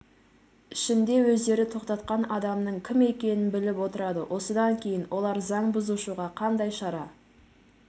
ішінде өздері тоқтатқан адамның кім екенін біліп отырады осыдан кейін олар заң бұзушыға қандай шара